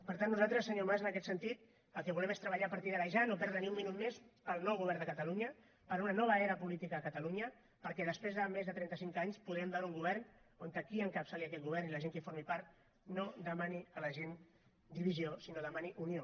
per tant nosaltres senyor mas en aquest sentit el que volem és treballar a partir d’ara ja no perdre ni un minut més pel nou govern de catalunya per una nova era política a catalunya perquè després de més de trenta cinc anys podrem veure un govern on qui encapçali aquest govern i la gent que en formi part no demanin a la gent divisió sinó que demanin unió